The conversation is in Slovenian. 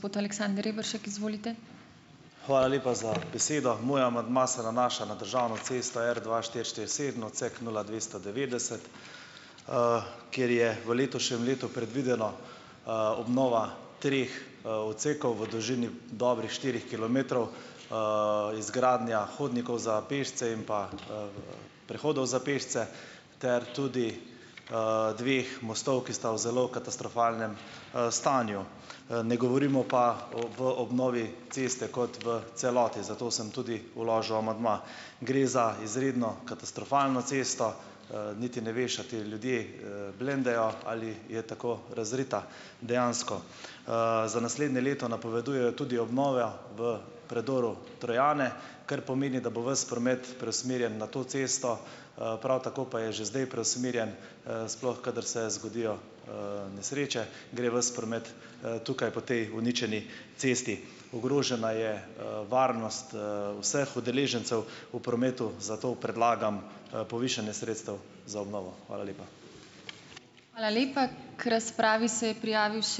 Hvala lepa za besedo. Moj amandma se nanaša na državno cesto R dva štiri štiri sedem, odsek nula dvesto devetdeset, kjer je v letošnjem letu predvidena, obnova treh, odsekov v dolžini dobrih štirih kilometrov, izgradnja hodnikov za pešce in pa, prehodov za pešce ter tudi, dveh mostov, ki sta v zelo katastrofalnem, stanju. Ne govorimo pa o obnovi ceste kot v celoti, zato sem tudi vložil amandma. Gre za izredno katastrofalno cesto, niti ne veš, a ti ljudje, blendajo ali je tako razrita, dejansko. Za naslednje leto napovedujejo tudi obnova v predoru Trojane, kar pomeni, da bo ves promet preusmerjen na to cesto, prav tako pa je že zdaj preusmerjen, sploh kadar se zgodijo, nesreče gre ves promet, tukaj po tej uničeni cesti. Ogrožena je, varnost, vseh udeležencev v prometu, zato predlagam, povišanje sredstev za obnovo. Hvala lepa.